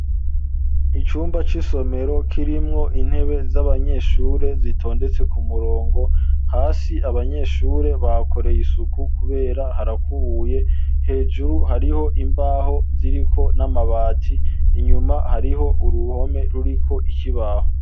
Icumba c'isomero kirimwo intebe z'abanyeshure zitondetse ku murongo hasi abanyeshure bakoreye isuku kubera harakubuye hejuru hariho imbaho ziriko n'amabati inyuma hariho uruhome ruriko ikibaho.